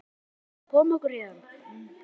Eigum við ekki að koma okkur héðan?